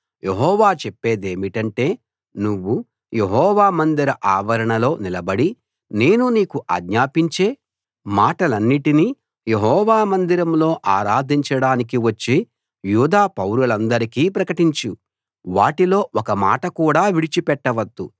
యెహోవా చెప్పేదేమిటంటే నువ్వు యెహోవా మందిర ఆవరణంలో నిలబడి నేను నీకు ఆజ్ఞాపించే మాటలన్నిటిని యెహోవా మందిరంలో ఆరాధించడానికి వచ్చే యూదా పౌరులందరికీ ప్రకటించు వాటిలో ఒక మాట కూడా విడిచిపెట్టవద్దు